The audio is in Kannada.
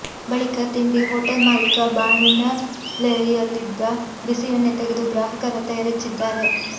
ಬಳಿಕ ತಿಂಡಿ ಹೊಟೇಲ್ ಮಾಲೀಕ ಬಾಣಲೆಯಲ್ಲಿದ್ದ ಬಿಸಿ ಎಣ್ಣೆ ತೆಗೆದು ಗ್ರಾಹಕರತ್ತ ಎರಚಿದ್ದಾರೆ